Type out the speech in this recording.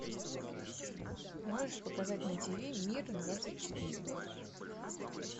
можешь показать на тв мир двадцать четыре